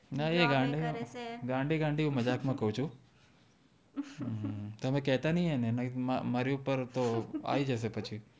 નય એ ગાંડી ગાંડી મજાક માં કવ છું તમે કેતા નય અને મારી ઉપર આવી જશે પછી